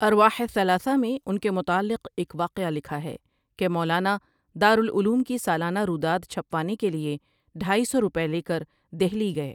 ارواحِ ثلاثہ میں ان کے متعلق ایک واقعہ لکھاہے کہ مولانا دار العلوم کی سالانہ روداد چھَپوانے کے لیے ڈھائی سو روپئے لے کر دہلی گئے۔